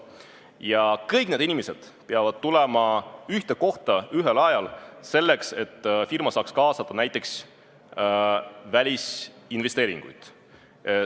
Ja kõik need inimesed peavad tulema ühel ajal ühte kohta selleks, et firma saaks kaasata näiteks välisinvesteeringuid.